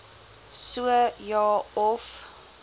so ja of